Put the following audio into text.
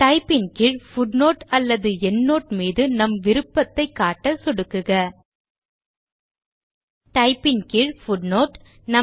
Type ன் கீழ் footnote அல்லது எண்ட்னோட் மீது நம் விருப்பத்தை காட்ட சொடுக்குக டைப் ன் கீழ் பூட்னோட்